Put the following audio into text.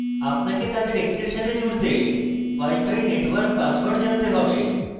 তাদের যে কোনো একটির সাথে জুড়তে পারেন আপনাকে প্রদত্ত wifi network পাসওয়ার্ড জানতে হবে